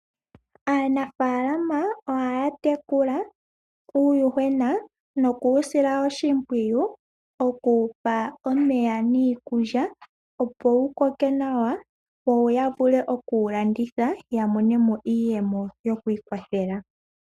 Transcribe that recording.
Aanafaalama ohaya tekula uuyuhwena noku wu sila oshimpwiyu oku wu pa omeya niikulya opo wu koke nawa, yo ya vule oku wu landitha ya mone mo iiyemo yokwiikwathela.